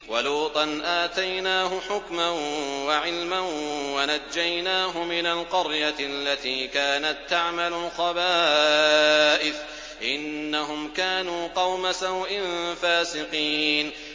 وَلُوطًا آتَيْنَاهُ حُكْمًا وَعِلْمًا وَنَجَّيْنَاهُ مِنَ الْقَرْيَةِ الَّتِي كَانَت تَّعْمَلُ الْخَبَائِثَ ۗ إِنَّهُمْ كَانُوا قَوْمَ سَوْءٍ فَاسِقِينَ